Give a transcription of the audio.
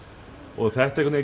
og þetta